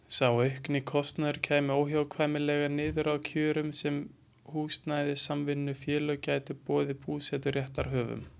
Sá aukni kostnaður kæmi óhjákvæmilega niður á þeim kjörum sem húsnæðissamvinnufélög gætu boðið búseturéttarhöfum.